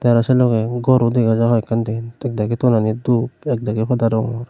aro selogee gor ro dega jai hoiken den ekdagi toni dup ekdagi pada rongor.